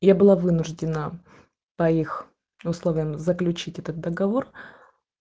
я была вынуждена по их условиям заключить этот договор